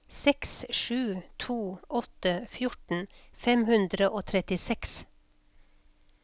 seks sju to åtte fjorten fem hundre og trettiseks